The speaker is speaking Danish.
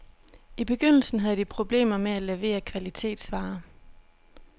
I begyndelsen havde de problemer med at levere kvalitetsvare.